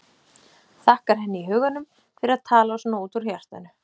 Þakkar henni í huganum fyrir að tala svona út úr hjartanu.